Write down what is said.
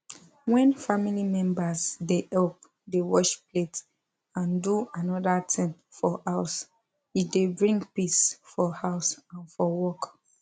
when family members dey help dey wash plate and do another thing for house e dey bring peace for house and for work